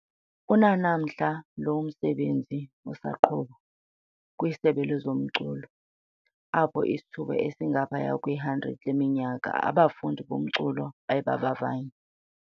Unanamhla oku lo msebenzi usaqhuba, kwiSebe lezomculo, apho isithuba esingaphaya kwe-100 leminyaka, abafundi bomculo baye bavavanywa.